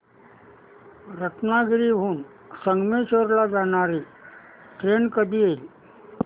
रत्नागिरी हून संगमेश्वर ला जाणारी ट्रेन कधी येईल